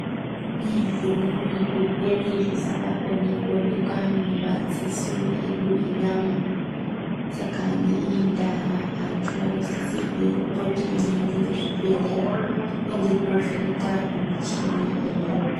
Kune zvimweni zvirwere zvisingakoni kuonekwa ngemadziso edu enyama, saka ngeiyi ndaa antu anosisirwa kupota eienda kuzvibhedhleya kuvhenekwa ngemichini iriyo.